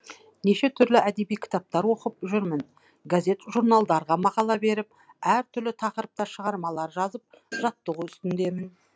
неше түрлі әдеби кітаптар оқып жүрмін газет журналдарға мақала беріп әр түрлі тақырыпта шығармалар жазып жаттығу үстідемін